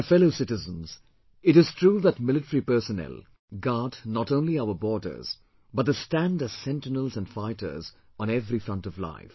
My fellow citizens, it is true that military personnel guard not only our borders, but they stand as sentinels and fighters on every front of life